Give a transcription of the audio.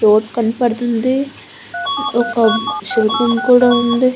Road కనబడుతుంది ఒక శిల్పం కూడా ఉంది.